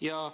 Ja